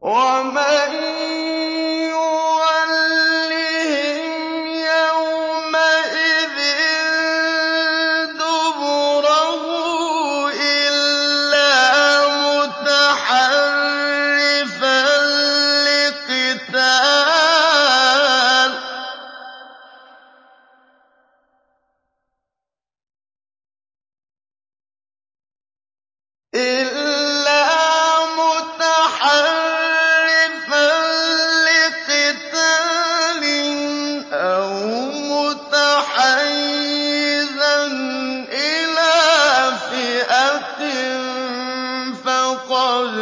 وَمَن يُوَلِّهِمْ يَوْمَئِذٍ دُبُرَهُ إِلَّا مُتَحَرِّفًا لِّقِتَالٍ أَوْ مُتَحَيِّزًا إِلَىٰ فِئَةٍ فَقَدْ